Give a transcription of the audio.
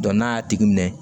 n'a y'a tigi minɛ